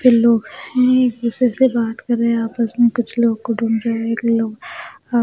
फिर लोग हैं एक दूसरे से बात कर रहे हैं आपस में कुछ लोग कुटुंब के जो एक लोग आ --